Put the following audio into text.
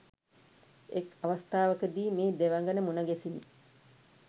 එක් අවස්ථාවකදී මේ දෙවඟන මුණ ගැසිණි.